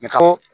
Mɛ ko